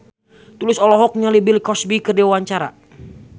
Tulus olohok ningali Bill Cosby keur diwawancara